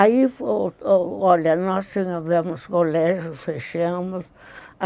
Aí, olha, nós tivemos colégio, fechamos.